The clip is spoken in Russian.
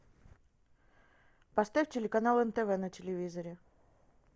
поставь телеканал нтв на телевизоре